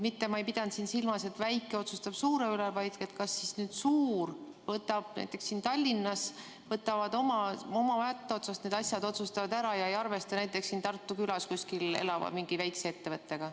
Ma ei pidanud siin silmas, et väike otsustab suure üle, vaid seda, kas nüüd suured näiteks siin Tallinnas oma mätta otsast otsustavad need asjad ära ega arvesta näiteks kuskil Tartumaa külas oleva väikese ettevõttega.